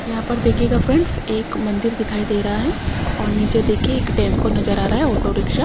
यहां पर दिखायेगा फ्रेंड्स एक मंदिर दिखाई दे रहा है और नीचे देखिए एक टेंपो नजर आ रहा है ऑटो रिक्शा --